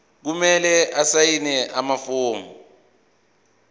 kumele asayine amafomu